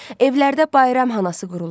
Evlərdə bayram hanası qurular.